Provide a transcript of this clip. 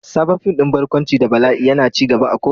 Sabon fim din barkwanci da bala'i yana ci gaba a ko'ina.